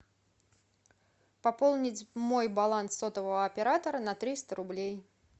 пополнить мой баланс сотового оператора на триста рублей